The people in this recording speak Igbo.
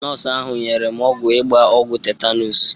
Nọọsụ ahụ nyere m ọgwụ ịgba ọgwụ tetanus.